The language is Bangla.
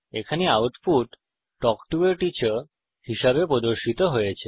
এখানে output talk to a teacher হিসাবে প্রদর্শিত হয়েছে